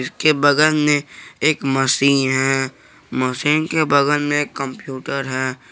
इसके बगल में एक मशीन है मशीन के बगल में एक कंप्यूटर है।